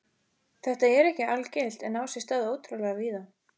Þetta er ekki algilt en á sér stað ótrúlega víða.